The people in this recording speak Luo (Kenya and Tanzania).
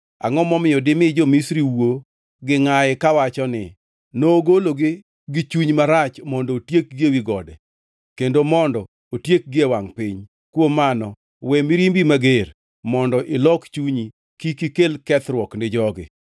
Angʼo momiyo dimi jo-Misri wuo gi ngʼayi kawacho ni, ‘Nogologi gi chuny marach mondo otiekgi ewi gode kendo mondo otiekgi e wangʼ piny?’ Kuom mano, we mirimbi mager, mondo ilok chunyi kik ikel kethruok ni jogi.